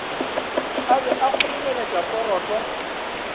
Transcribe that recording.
a be a kgoromeletša poroto